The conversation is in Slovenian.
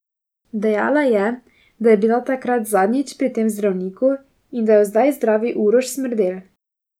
Dejala je, da je bila takrat zadnjič pri tem zdravniku in da jo zdaj zdravi Uroš Smrdel.